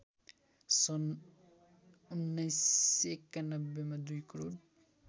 सन् १९९१ मा २ करोड